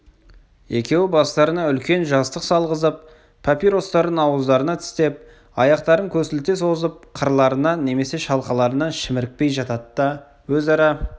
екеуі бастарына үлкен жастық салғызып папиростарын ауыздарына тістеп аяқтарын көсілте созып қырларынан немесе шалқаларынан шімірікпей жатады да өзара